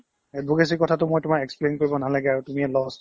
advocacy কথাটো মই তোমাক explain কৰিব নালাগে আৰু তুমিয়ে law student